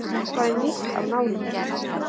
Eitthvað er nýtt af nálinni